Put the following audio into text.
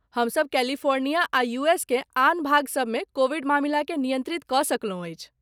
हमसभ कैलिफ़ोर्निया आ यूएसकेँ आन भागसभमे कोविड मामिलाकेँ नियन्त्रित कऽ सकलहुँ अछि।